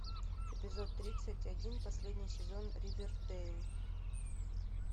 эпизод тридцать один последний сезон ривердейл